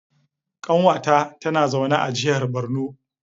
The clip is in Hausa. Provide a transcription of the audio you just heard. Kanwata tana zaune a jihar Borno.